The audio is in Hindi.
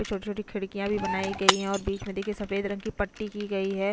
छोटी-छोटी खिड़कियां भी बनाई गई है और बीच में देखिए सफेद रंग की पट्टी की गई है।